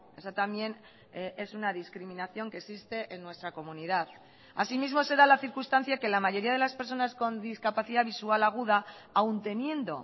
esa también es una discriminación que existe en nuestra comunidad así mismo se da la circunstancia que la mayoría de las personas con discapacidad visual aguda aun teniendo